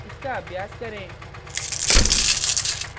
इसका अभ्यास करें